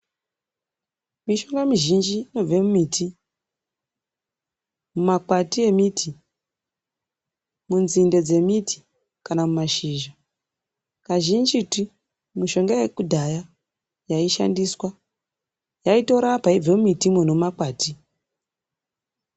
Mishonga mizhinji inobve mumiti, mumakwati emiti, munzinde dzemiti kana mumashizha, kazhinjitu mishonga yekudhaya yaishandiswa yaitorapa yeibva mumitimwo nemumakwati.